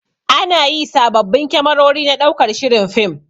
Anayi sababbin kamerori na ɗaukar shirin fim